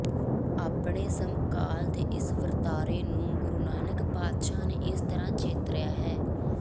ਆਪਣੇ ਸਮਕਾਲ ਦੇ ਇਸ ਵਰਤਾਰੇ ਨੂੰ ਗੁਰੂ ਨਾਨਕ ਪਾਤਸ਼ਾਹ ਨੇ ਇਸ ਤਰ੍ਹਾਂ ਚਿਤਰਿਆ ਹੈ